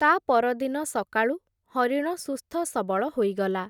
ତା’ ପରଦିନ ସକାଳୁ, ହରିଣ ସୁସ୍ଥ ସବଳ ହୋଇଗଲା ।